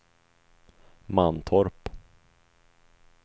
Mantorp